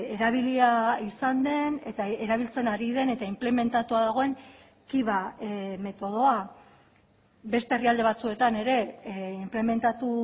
erabilia izan den eta erabiltzen ari den eta inplementatua dagoen kiva metodoa beste herrialde batzuetan ere inplementatu